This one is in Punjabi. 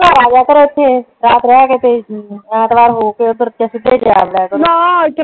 ਘਰ ਆ ਜਾਇਆ ਕਰ ਇੱਥੇ ਰਾਤ ਰਿਹ ਕੇ ਤੇ ਐਤਵਾਰ ਹੋ ਕੇ ਓਦਰ ਸਿੱਧਾ ਚਰਹ ਜਾਇਆ ਕਰੋ ਨਾ ਇੱਥੇ